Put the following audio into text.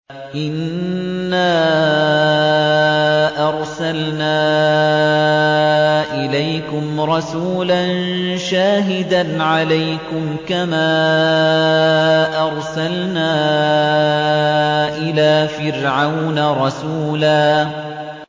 إِنَّا أَرْسَلْنَا إِلَيْكُمْ رَسُولًا شَاهِدًا عَلَيْكُمْ كَمَا أَرْسَلْنَا إِلَىٰ فِرْعَوْنَ رَسُولًا